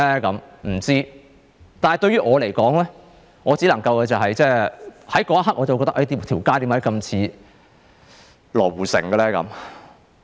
我不知道，但對於我來說，我在那一刻會感到，為何這街道那麼像羅湖城？